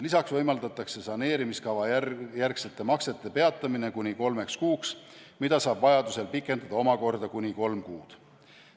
Lisaks võimaldatakse saneerimiskava järgsete maksete peatamine kuni kolmeks kuuks, mida saab vajaduse korral pikendada omakorda kuni kolm kuud.